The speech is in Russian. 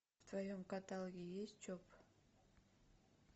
в твоем каталоге есть чоп